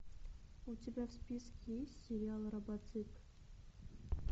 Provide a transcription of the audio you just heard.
у тебя в списке есть сериал робоцып